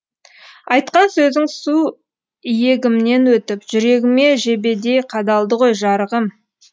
айтқан сөзің сү йегімнен өтіп жүрегіме жебедей қадалды ғой жарығым